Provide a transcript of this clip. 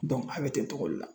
a bɛ ten togo le la.